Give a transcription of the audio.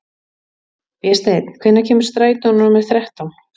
Vésteinn, hvenær kemur strætó númer þrettán?